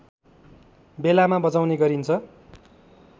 बेलामा बजाउने गरिन्छ